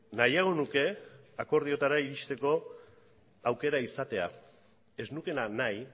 nahiago nuke akordioetara iristeko aukera izatea ez nukeena nahi